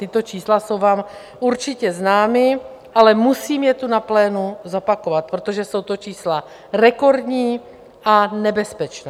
Tato čísla jsou vám určitě známa, ale musím je tu na plénu zopakovat, protože jsou to čísla rekordní a nebezpečná.